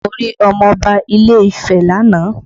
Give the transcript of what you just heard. Mo rí ọmọ Ọba ilé Ifẹ́ lánàá